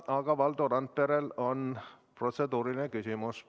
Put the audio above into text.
Aga Valdo Randperel on protseduuriline küsimus.